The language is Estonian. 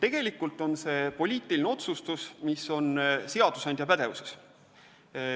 Tegelikult on see poliitiline otsustus, mis on seadusandja pädevuses.